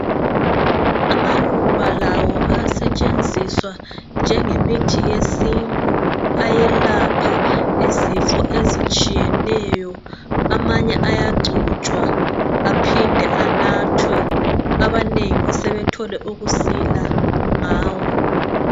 Amaluba lawo ayasetshenziswa njengemithi yesintu, ayelapha izifo ezitshiyeneyo .Amanye ayagcotshwa aphinde anathwe .Abanengi sebethole ukusila ngawo.